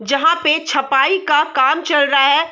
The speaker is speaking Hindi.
जहाँ पे छपाई का काम चल रहा है।